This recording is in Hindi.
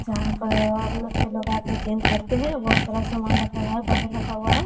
जहां पर लड़के लोग आकर जिम करते हैं वह सारा सामान रखा हुआ है डम्बल रखा हुआ है।